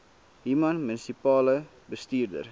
human munisipale bestuurder